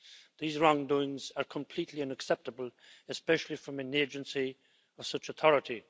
These wrongdoings are completely unacceptable, especially from an agency of such authority.